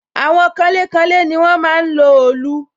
Àwọn kanlé kanlé ni wọ́n máa ń lo òòlù